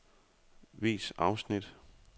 Vis afsnit.